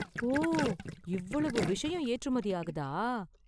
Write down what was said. ஓ, இவ்வளவு விஷயம் ஏற்றுமதி ஆகுதா!